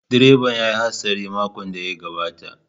Direban ya yi hatsari a makon da ya gabata.